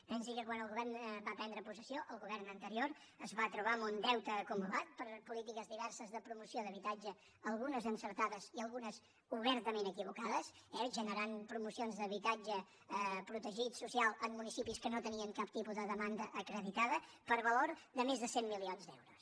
pensi que quan el govern va prendre possessió el govern anterior es va trobar amb un deute acumulat per polítiques diverses de promoció d’habitatge algunes d’encertades i algunes d’obertament desencertades eh generant promocions d’habitatge protegit social en municipis que no tenien cap tipus de demanda acreditada per valor de més de cent milions d’euros